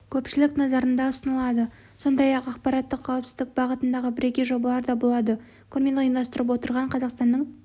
көпшілік назарында ұсынылады сондай-ақ ақпараттық қауіпсіздік бағытындағы бірегей жобалар да болады көрмені ұйымдастырып отырған қазақстанның